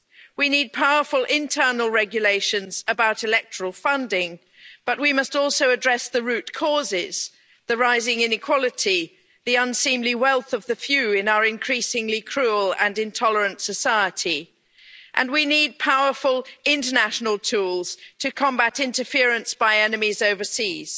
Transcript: We need powerful internal regulations about electoral funding, but we must also address the root causes the rising inequality, the unseemly wealth of the few in our increasingly cruel and intolerant society and we need powerful international tools to combat interference by enemies overseas.